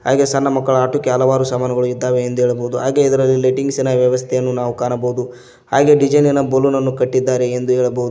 ಹಾಗೆ ಸಣ್ಣ ಮಕ್ಕಳು ಆಟ್ಟುಕೆ ಹಲವಾರು ಸಾಮಾನುಗಳು ಇದ್ದಾವೆ ಎಂದು ಹೇಳಬಹುದು ಹಾಗೆ ಇದರಲ್ಲಿ ಲೈಟಿಂಗ್ಸ್ ಇನ ವ್ಯವಸ್ಥೆಯನ್ನು ನಾವು ಕಾಣಬಹುದು ಹಾಗೆ ಡಿಸೈನ್ ಇನ ಬಲ್ಲೂನ್ ಅನ್ನು ಕಟ್ಟಿದ್ದಾರೆ ಎಂದು ಹೇಳಬಹುದು.